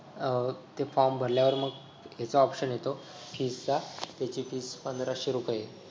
अं ते form भरल्यावर मग ह्याचा option येतो fee चा त्याची fee पंधराशे रुपये हे.